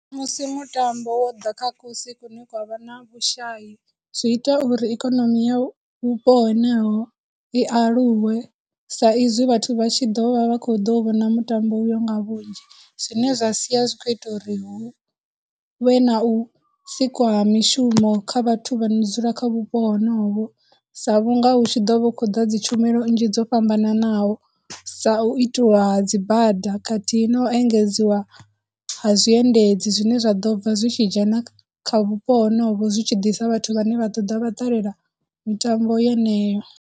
Musi mutambo wo ḓa kha kusi kune kwa vha na vhushayi, zwi ita uri ikonomi ya vhupo heneho i aluwe sa izwi vhathu vha tshi ḓo vha vha khou ḓo vhona mutambo uyo nga vhunzhi, zwine zwa sia zwi khou ita uri hu vhe na u sikwa ha mishumo kha vhathu vha no dzula kha vhupo honovho, sa vhunga hu tshi ḓo vha hu tshi khou ḓa dzitshumelo nnzhi dzo fhambananaho, sa u itiwa dzi bada, khathihi no engedziwa ha zwiendedzi zwine zwa ḓo bva zwi tshi dzhena kha vhupo honovho zwi tshi ḓisa vhathu vhane vha ḓo ḓa vha ṱalela mitambo yeneyo.